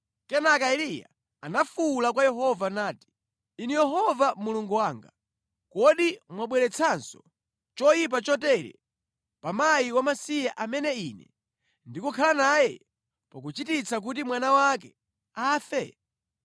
Kenaka Eliya anafuwula kwa Yehova nati, “Inu Yehova Mulungu wanga, kodi mwabweretsanso choyipa chotere pa mkazi wamasiye amene ine ndikukhala naye, pakuchititsa kuti mwana wake afe?”